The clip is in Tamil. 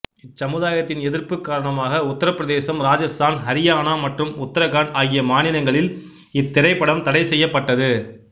இச்சமுதாயத்தின் எதிர்ப்பு காரணமாக உத்தரபிரதேசம் ராஜஸ்தான் ஹரியானா மற்றும் உத்தரகண்ட் ஆகிய மாநிலங்களில் இத்திரைப்படம் தடை செய்யப்பட்டது